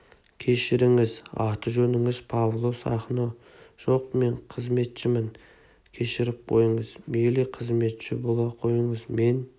кешіріңіз аты-жөніңіз павло сахно жоқ мен қызметшімін кешіріп қойыңыз мейлі қызметші бола қойыңыз мен